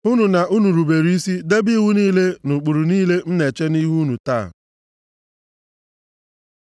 hụnụ na unu rubere isi debe iwu niile na ụkpụrụ niile m na-eche nʼihu unu taa.